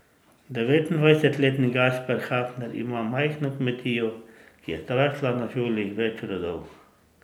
Devetindvajsetletni Gašper Hafner ima majhno kmetijo, ki je zrasla na žuljih več rodov.